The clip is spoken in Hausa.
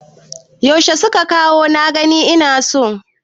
Yaushe suka kawo kuɗin na gani ina so?